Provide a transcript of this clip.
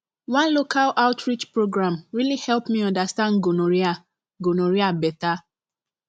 one local outreach program really help me understand gonorrhea gonorrhea better